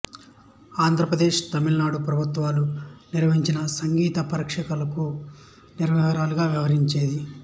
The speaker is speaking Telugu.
ఆంధ్రప్రదేశ్ తమిళనాడు ప్రభుత్వాలు నిర్వహించిన సంగీత పరీక్షలకు నిర్వాహకురాలిగా వ్యవహరించింది